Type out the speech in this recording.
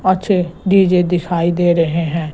अच्छे डी_जे दिखाई दे रहे हैं।